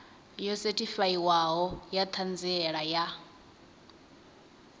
yo sethifaiwaho ya ṱhanziela ya